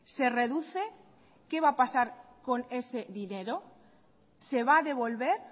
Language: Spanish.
se reduce qué va a pasar con ese dinero se va a devolver